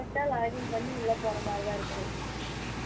விட்டா login பண்ணி உள்ள போற மாதிரி தான் இருக்கு